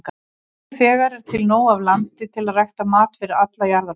Nú þegar er til nóg af landi til að rækta mat fyrir alla jarðarbúa.